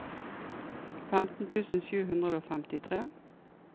femten tusen sju hundre og femtitre